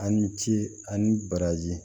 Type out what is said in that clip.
A ni ce ani baraji